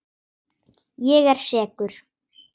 Ég er sekur.